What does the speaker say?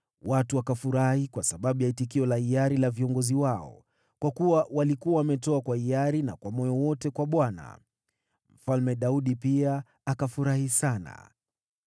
Watu wakafurahi kwa sababu ya itikio la hiari la viongozi wao, kwa kuwa walikuwa wametoa kwa hiari na kwa moyo wote kwa Bwana . Mfalme Daudi pia akafurahi sana.